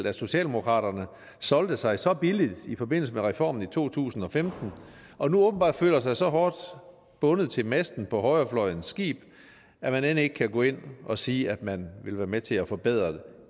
at socialdemokraterne solgte sig så billigt i forbindelse med reformen i to tusind og femten og nu åbenbart føler sig så hårdt bundet til masten på højrefløjens skib at man end ikke kan gå ind og sige at man vil være med til at forbedre